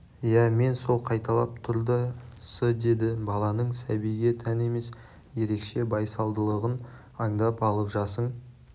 иә мен сол қайталап тұр да-с деді баланың сәбиге тән емес ерекше байсалдылығын аңдап алып жасың